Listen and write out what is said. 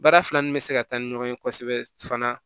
Baara fila ni bɛ se ka taa ni ɲɔgɔn ye kosɛbɛ fana